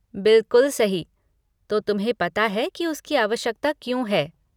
बिलकुल सही, तो तुम्हें पता है कि उसकी आवश्यकता क्यों है।